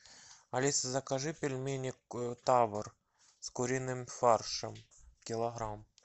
алиса закажи пельмени тавр с куриным фаршем килограмм